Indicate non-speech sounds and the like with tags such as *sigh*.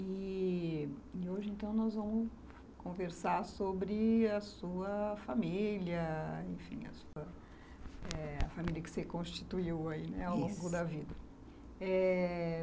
E... e hoje então nós vamos conversar sobre a sua família, enfim, a família que você constituiu ao longo da vida. *unintelligible* é...